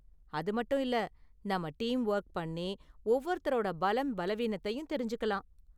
அது மட்டும் இல்ல, நாம டீம் வொர்க் பண்ணி, ஒவ்வொருத்தரோட பலம், பலவீனத்தயும் தெரிஞ்சுக்கலாம்.